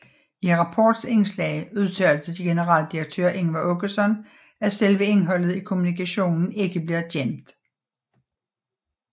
I Rapports indslag udtalte generaldirektør Ingvar Åkesson at selve indholdet i kommunikationen ikke bliver gemt